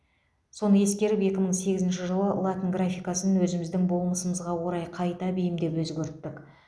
соны ескеріп екі мың сегізінші жылы латын графикасын өзіміздің болмысымызға орай қайта бейімдеп өзгерттік